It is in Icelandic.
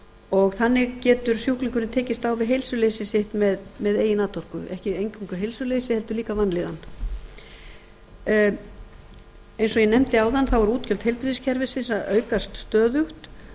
og þannig getur sjúklingurinn tekist á við heilsuleysi sitt með eigin atorku ekki eingöngu heilsuleysi heldur líka vanlíðan eins og ég nefndi áðan þá eru útgjöld heilbrigðiskerfisins að aukast stöðugt